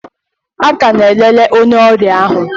A ka na-elele onye ọrịa ahụ.